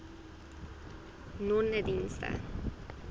nonedienste